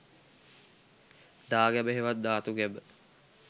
දාගැබ හෙවත් ධාතු ගැබ